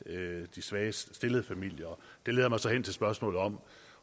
de svagest stillede familier det leder mig så hen til spørgsmålet om